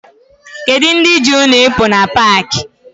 Kedu ndị ji unu ịpụ na paakị?